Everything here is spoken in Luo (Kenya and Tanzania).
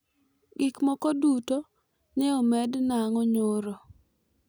gik moko duto nye omed nango nyoro